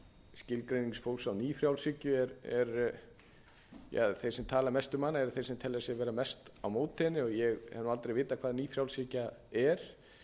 skilgreining fólks á nýfrjálshyggju er ja þeir sem tala mest um hana eru þeir sem telja sig vera mest á móti henni og ég hef aldrei vitað hvað nýfrjálshyggja er